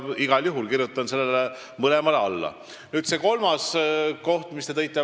Igal juhul kirjutan mõlemale seisukohale alla.